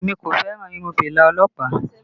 Èmi kò fẹ́ràn irun fìlà ọlọ́pàá